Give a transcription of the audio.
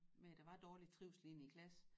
Men der var dårlig trivsel inde i klasse